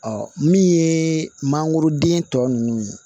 Ɔ min ye mangoroden tɔ ninnu ye